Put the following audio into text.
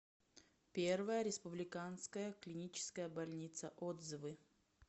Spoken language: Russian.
первая республиканская клиническая больница отзывы